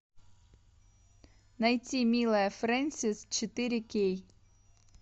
найти милая френсис четыре кей